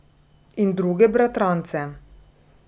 In druge bratrance.